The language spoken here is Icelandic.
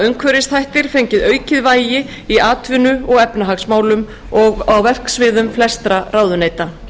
umhverfisþættir fengið aukið vægi í atvinnu og efnahagsmálum og verksviðum flestra ráðuneyta